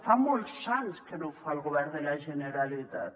fa molts anys que no ho fa el govern de la generalitat